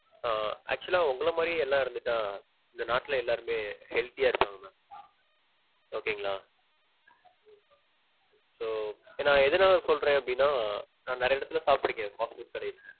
ஆஹ் actual லா உங்கள மாதிரியே எல்லா இருந்துட்டா இந்த நாட்டுல எல்லாருமே healthy யா இருப்பாங்க ma'am. நா எதனால சொல்றேன் அப்டினா னா நிறைய இடத்துல சாப்பிட்டிருக்கேன் fast food கடைல